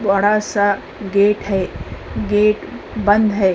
बड़ा सा गेट है। गेट बंद है।